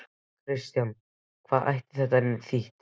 Kristján, hvað gæti þetta þýtt?